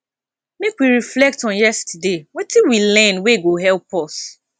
make we reflect on yesterday wetin we learn wey go help us